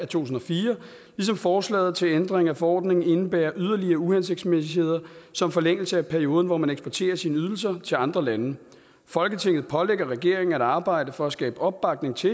tusind og fire ligesom forslaget til ændring af forordningen indebærer yderligere uhensigtsmæssigheder som forlængelse af perioden hvor man eksporterer sine ydelser til andre lande folketinget pålægger regeringen at arbejde for at skabe opbakning til